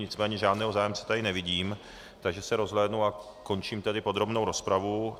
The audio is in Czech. Nicméně žádného zájemce tady nevidím, takže se rozhlédnu... a končím tedy podrobnou rozpravu.